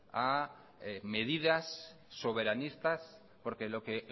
a medidas soberanistas porque lo que